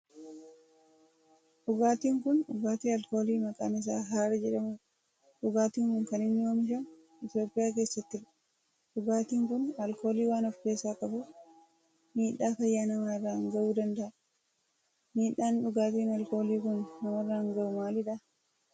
Dhugaatin kun dhugaatii alkoolii maqaan isaa Harar jedhamudha. Dhugaatin kun kan inni oomishamu Itiyoophiyaa keessattidha. Dhugaatin kun alkoolii waan of keessaa qabuf miidhaa fayyaa namaa irraan gahuu danda'a. Miidhaan dhugaatiin alkoolii kun namarraan gahu maalidha?